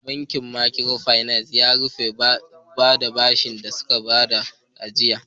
Bankin makiro finas ya rufe saboda ba su iya kwato bashin da suka bayar ba.